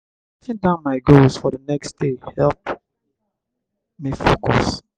writing down my goals for the next day dey help me focus.